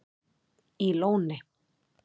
í Lóni